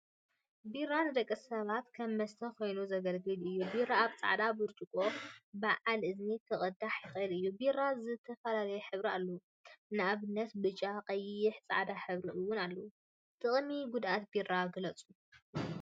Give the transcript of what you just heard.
ቢራ ንደቂ ሰባት ከም መስተ ኮይኑ ዘገልግል እዩ፡፡ ቢራ አብ ፃዕዳ ብርፅቆ በዓል እዝኒ ክቅዳሕ ይክእል እዩ፡፡ ቢራ ዝተፈላለየ ሕብሪ አለዎ፡፡ ንአብነት ብጫ፣ ቀይሕን ፃዕዳን ሕብሪ እውን አለዎ፡፡ ጥቅሚን ጉድአትን ቢራ ግለፁ?